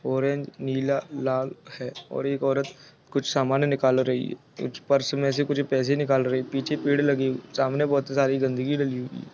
Orange नीला लाल है और एक औरत कुछ सामान निकाल रही है कुछ पर्स मे से कुछ पैसे निकाल रही है पीछे पेड लगे सामने बहुत सारी गंदगी लगी हुई है।